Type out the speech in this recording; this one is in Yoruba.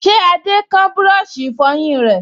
Ṣé Adé kán búrọ̀sì ìfọyín rẹ̀?